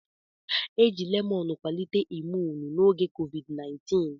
Eji lemọn kwalite imuun n'oge COVID-19.